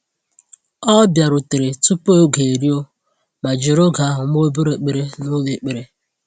O bịarutere tupu oge eruo ma jiri oge ahụ mee obere ekpere n’ụlọ ekpere.